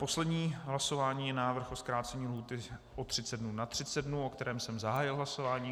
Poslední hlasování je návrh o zkrácení lhůty o 30 dnů na 30 dnů, o kterém jsem zahájil hlasování.